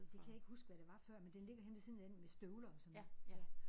Det kan jeg ikke huske hvad der var før men den ligger henne ved siden af den med støvler og sådan ja